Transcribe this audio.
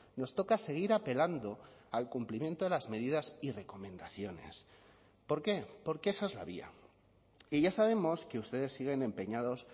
nos toca seguir apelando al cumplimiento de las medidas y recomendaciones por qué porque esa es la vía y ya sabemos que ustedes siguen empeñados